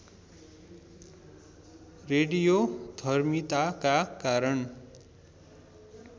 रेडियोधर्मिताका कारण